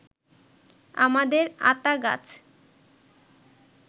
আমাদের আতা গাছ